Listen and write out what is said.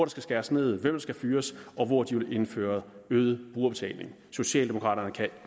skal skæres ned hvem der skal fyres og hvor de vil indføre øget brugerbetaling socialdemokrater kan